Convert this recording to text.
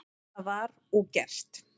Það var og gert.